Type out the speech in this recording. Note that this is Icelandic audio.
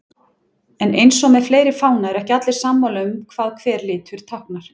En eins og með fleiri fána eru ekki allir sammála um hvað hver litur táknar.